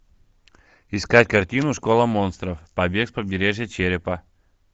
искать картину школа монстров побег с побережья черепа